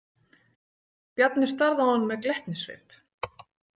Bjarni starði á hann með glettnissvip.